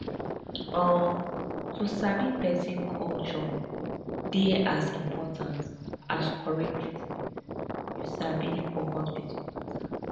umm to sabi person culture dey as important as correct treatment you sabi for hospital matter